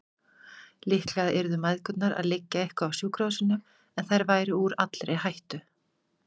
Líklega yrðu mæðgurnar að liggja eitthvað á sjúkrahúsinu, en þær væru úr allri hættu.